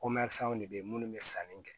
de bɛ ye minnu bɛ sanni kɛ